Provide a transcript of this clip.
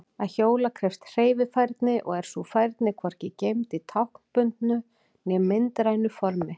Að hjóla krefst hreyfifærni og er sú færni hvorki geymd í táknbundnu né myndrænu formi.